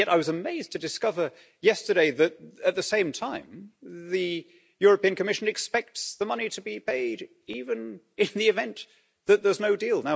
And yet I was amazed to discover yesterday that, at the same time, the European Commission expects the money to be paid even in the event that there is no deal.